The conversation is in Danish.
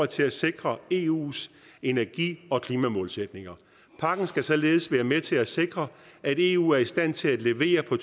til at sikre eus energi og klimamålsætninger pakken skal således være med til at sikre at eu er i stand til at levere på